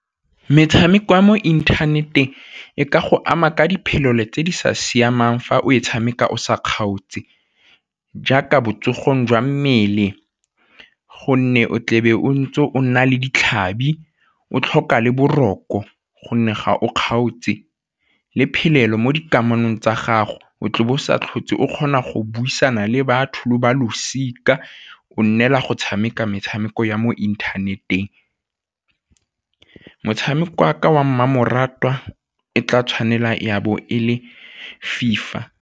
Metshameko ya mo inthaneteng e ka go ama ka diphelelo tse di sa siamang fa o tshameka o sa kgaotse jaaka botsogong jwa mmele gonne o tlebe o ntse o nna le ditlhabi, o tlhoka le boroko gonne ga o kgaotse le phelelo mo dikamanong tsa gago o tlo bo o sa tlhotse o kgona go buisana le batho lo ba losika o nnela go tshameka metshameko ya mo inthaneteng. Motshameko wa ka wa mmamoratwa e tla tshwanela ya bo e le FIFA.